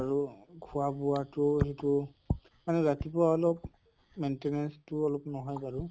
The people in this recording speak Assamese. আৰু খোৱা বোৱা টো সেইটো আৰু ৰাতিপুৱা অলপ maintenance টো অলপ নহয় বাৰু